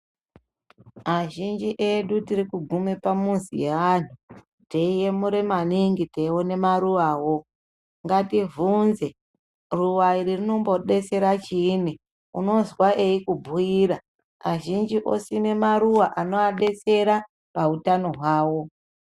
Azhinji edu tiri kugume pamizi yeanhu, teyiyemura maningi ,teyiona maruwawo, ngatibvunze ruwa iri rinombodetsera chiyini, unozwa eyikubhuyira, azhinji osime maruwa anovadetsera pautano hwavo.